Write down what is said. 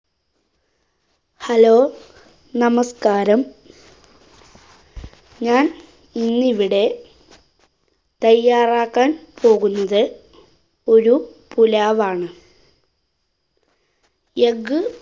hello നമസ്കാരം. ഞാന്‍ ഇന്നിവിടെ തയ്യാറാക്കാന്‍ പോകുന്നത് ഒരു പുലാവാണ്. egg